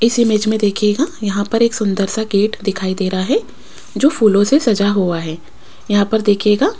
इस इमेज में देखिएगा यहां पर एक सुंदर सा गेट दिखाई दे रहा है जो फूलों से सजा हुआ है यहां पर देखिएगा --